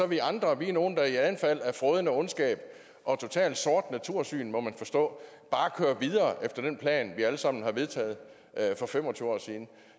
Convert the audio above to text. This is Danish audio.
vi andre er nogle der i et anfald af frådende ondskab og totalt sort natursyn må jeg forstå bare kører videre efter den plan som vi alle sammen har vedtaget for fem og tyve år siden